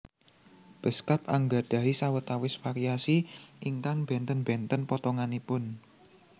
Beskap anggadhahi sawetawis variasi ingkang bènten bènten potonganipun